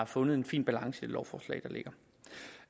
fundet en fin balance i det lovforslag